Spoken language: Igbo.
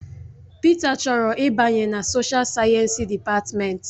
Peter chọrọ ịbanye na soshial sayensị dịpatmenti.